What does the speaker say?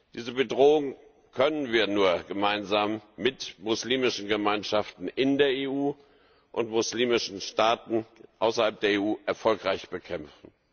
Diese Bedrohung können wir nur gemeinsam mit muslimischen Gemeinschaften in der EU und muslimischen Staaten außerhalb der EU erfolgreich bekämpfen.